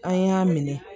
An y'a minɛ